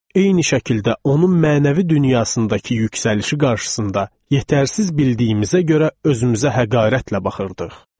Eyni şəkildə onun mənəvi dünyasındakı yüksəlişi qarşısında yetərsiz bildiyimizə görə özümüzə həqarətlə baxırdıq.